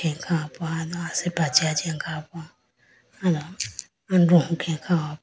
Sapa do asipra chi ajiyane kha po aye do andoho khenge kha hopo.